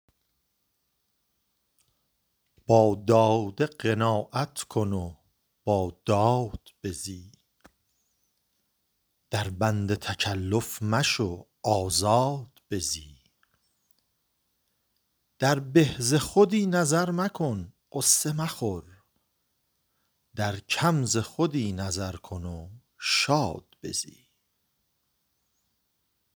با داده قناعت کن و با داد بزی در بند تکلف مشو آزاد بزی در به ز خودی نظر مکن غصه مخور در کم ز خودی نظر کن و شاد بزی